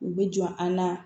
U bɛ jɔ an na